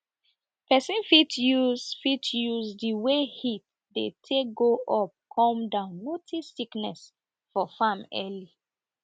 person fit use fit use de way heat dey take go up come down notice sickness for farm early